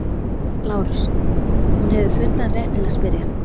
LÁRUS: Hún hefur fullan rétt til að spyrja.